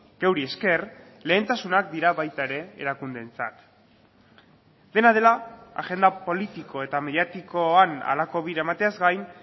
geuri esker lehentasunak dira baita ere erakundeentzat dena dela agenda politiko eta mediatikoan halako bira emateaz gain